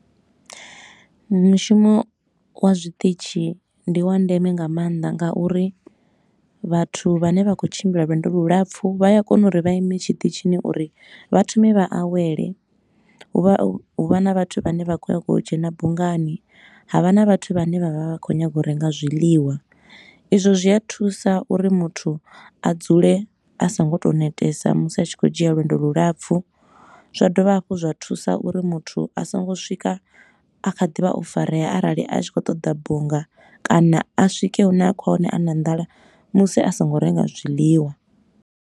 Mushumo wa zwiṱitshi ndi wa ndeme nga maanḓa ngauri vhathu vhane vha khou tshimbila lwendo lu lapfu, vha a kona uri vha ime tshiṱitshini uri vha thome vha awele. Hu vha hu vha na vhathu vhane vha khou nyaga u dzhena bungani, ha vha na vhathu vhane vha vha vha khou nyaga u renga zwiḽiwa. Izwo zwi a thusa uri muthu a dzule a so ngo tou netesa musi a tshi khou dzhia lwendo lu lapfu, zwa dovha hafhu zwa thusa uri muthu a songo swika a kha ḓivha o farea arali a tshi khou ṱoḓa bunga kana a swike hune a khou ya hone a na nḓala musi a songo renga zwiḽiwa.